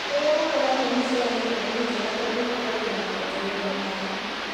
Kũria gũkũragio mĩcere irio nĩnjega tondũ ĩkũragio na guĩtĩrĩrio maĩ